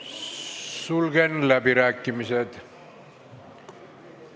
Sulgen läbirääkimised.